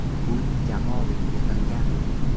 Pul jamoaviy yig‘ilgan.